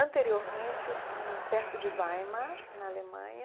Anteriormente, hum perto de Weimar, na Alemanha.